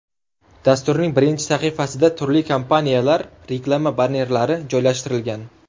Dasturning birinchi sahifasida turli kompaniyalar reklama bannerlari joylashtirilgan.